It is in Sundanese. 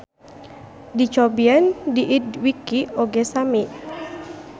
Dicobian di idwiki oge sami.